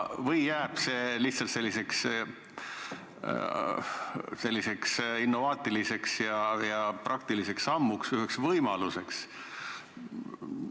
Või jääb see lihtsalt selliseks innovaatiliseks ja praktiliseks sammuks, üheks võimaluseks?